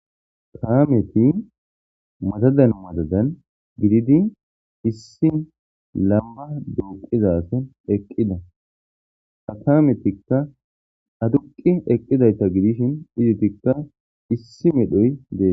kaameti madadan madadan gididi issi lamba dooqizason eqqida ha kametikka aduqi eqqidayta gidishin izitikka issi medhoy dees